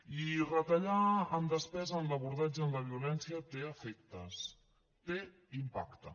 i retallar en despesa en l’abordatge en la violència té efectes té impacte